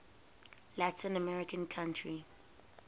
latin american country